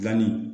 Gilanni